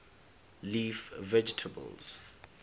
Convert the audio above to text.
leaf vegetables